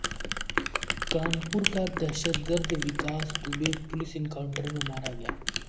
کانپور کا دہشت گرد وکاس دوبے پولیس انکائونٹر میں مارا گیا